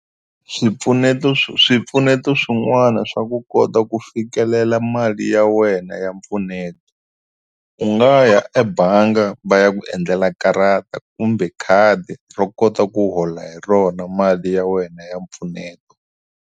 Swipfuneto swipfuneto swin'wana swa ku kota ku fikelela mali ya wena ya mpfuneto u nga ya ebangi va ya ku endlela karata kumbe khadi ro kota ku hola hi rona mali ya wena ya mpfuneto.